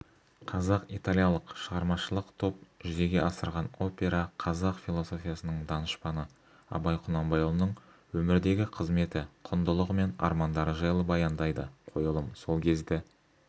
қазақ-италиялық шығармашылық топ жүзеге асырған опера қазақ философиясының данышпаны абай құнанбайұлының өмірдегі қызметі құндылығы мен армандары жайлы баяндайды қойылым сол кезді